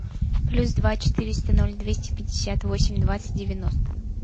плюс два четыреста ноль двести пятьдесят восемь двадцать девяносто